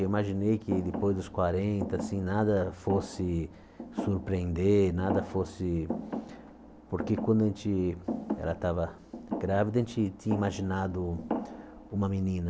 Eu imaginei que depois dos quarenta assim, nada fosse surpreender, nada fosse... Porque quando a gente ela estava grávida, a gente tinha imaginado uma menina.